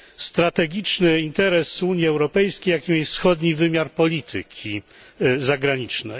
strategiczny interes Unii Europejskiej, jakim jest wschodni wymiar polityki zagranicznej.